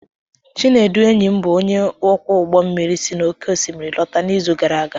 Chinedu, enyi m bụ onye ọkwọ ụgbọ mmiri, si n’oké osimiri lọta n’izu gara aga.